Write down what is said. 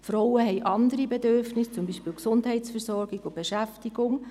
Frauen haben andere Bedürfnisse, beispielsweise in der Gesundheitsversorgung und Beschäftigung.